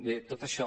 bé tot això